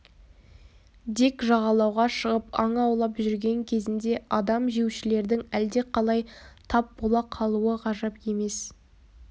дик жағалауға шығып аң аулап жүрген кезінде адам жеушілердің әлдеқалай тап бола қалуы ғажап емес